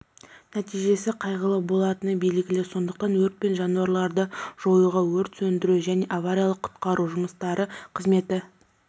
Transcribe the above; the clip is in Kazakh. нәтижесі қайғылы болатыны белгілі сондықтан өрт пен жануларды жоюға өрт сөндіру және авариялық-құтқару жұмыстары қызметі